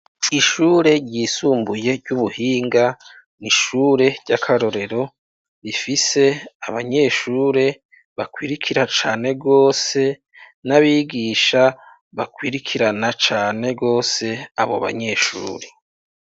Kw'ishure ryisumbuye ry'ubuhinga, n'ishure ry'akarorero rifise abanyeshure bakurikira cane rwose, n'abigisha bakurikirana cane rwose abo banyeshure.